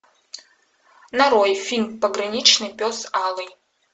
нарой фильм пограничный пес алый